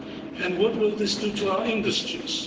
And what will this do to our industries?